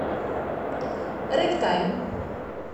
рэктайм